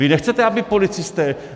Vy nechcete, aby policisté?